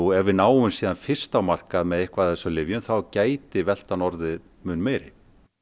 ef við náum fyrst á markað með eitthvað af þessum lyfjum þá gæti veltan orðið mun meiri